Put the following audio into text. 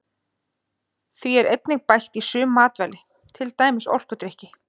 Því er einnig bætt í sum matvæli til dæmis orkudrykki.